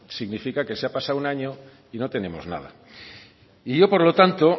significa que se ha pasado un año y no tenemos nada y yo por lo tanto